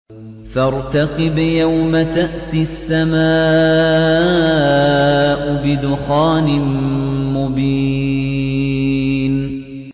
فَارْتَقِبْ يَوْمَ تَأْتِي السَّمَاءُ بِدُخَانٍ مُّبِينٍ